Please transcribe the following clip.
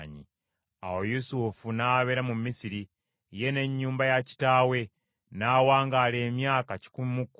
Awo Yusufu n’abeera mu Misiri, ye n’ennyumba ya kitaawe. N’awangaala emyaka kikumi mu kkumi.